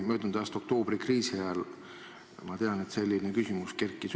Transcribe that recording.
Möödunud aasta oktoobrikriisi ajal, ma tean, kerkis see küsimus üles.